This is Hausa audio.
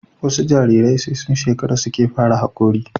wasu Jarirai sai sun shekara suke fara hakori